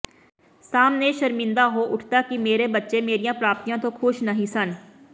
ਸਾਹਮਣੇ ਸ਼ਰਮਿੰਦਾ ਹੋ ਉੱਠਦਾ ਕਿ ਮੇਰੇ ਬੱਚੇ ਮੇਰਿਆਂ ਪ੍ਰਾਪਤੀਆਂ ਤੋ ਖ਼ੁਸ਼ ਨਹੀਂ ਸਨ